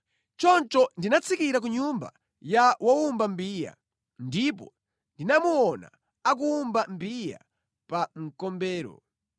Choncho ndinatsikira ku nyumba ya wowumba mbiya, ndipo ndinamuona akuwumba mbiya pa mkombero.